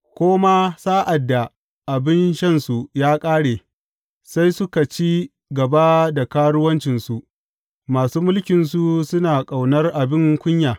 Ko ma sa’ad da abin shansu ya ƙare, sai suka ci gaba da karuwancinsu; masu mulkinsu suna ƙaunar abin kunya.